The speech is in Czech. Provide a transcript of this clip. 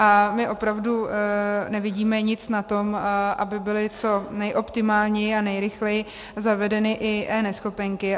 A my opravdu nevidíme nic na tom, aby byly co nejoptimálněji a nejrychleji zavedeny i eNeschopenky.